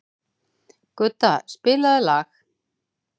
Gudda, spilaðu lag.